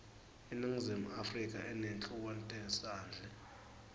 iningizimu afrika inetluanetasendle